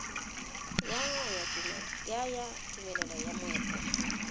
ya ya tumelelo ya moepo